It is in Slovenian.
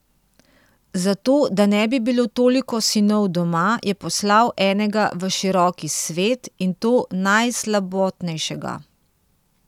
Zato, da ne bi bilo toliko sinov doma, je poslal enega v široki svet, in to najslabotnejšega.